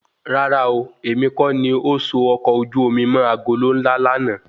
Rárá ooo, èmi kọ́ ni o so ọkọ ojú omi mọ́ agolo ńlá lànà